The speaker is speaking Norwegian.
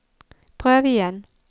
prøv igjen